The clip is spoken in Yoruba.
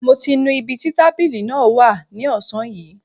Mo ti nu ibi tí tábìlì náà wà ní ọ̀sán yìí